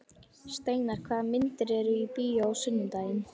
Steinar, hvaða myndir eru í bíó á sunnudaginn?